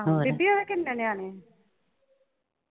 ਬੀਬੀ ਉਹਦੇ ਕਿੰਨੇ ਨਿਆਣੇ ਨੇ